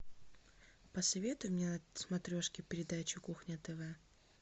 посоветуй мне на смотрешке передачу кухня тв